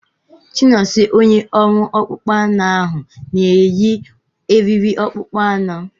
Chinonso onye ọrụ akpụkpọ anụ ahu na-eyi eriri akpụkpọ anụ.